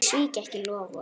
Ég svík ekki loforð.